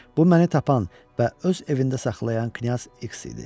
Bu məni tapan və öz evində saxlayan knyaz X idi.